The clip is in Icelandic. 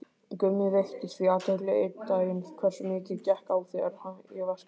Gummi veitti því athygli einn daginn hversu mikið gekk á þegar ég vaskaði upp.